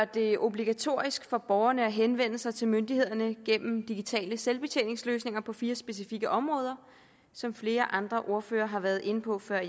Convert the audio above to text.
det obligatorisk for borgerne at henvende sig til myndighederne gennem digitale selvbetjeningsløsninger på fire specifikke områder som flere andre ordførere har været inde på før